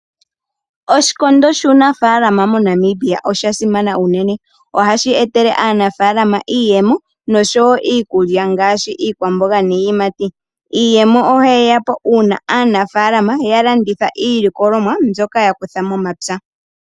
Oshikondo shu nafaalama moNamibia oshasimana unene ohashi etele aanafaalama iiyemo nosho wo iikulya ngaashi iikwamboga niiyimati. Iiyemo ohayi ya po una aanafaalama ya landitha iilikolomwa mbyoka ya kutha momapya.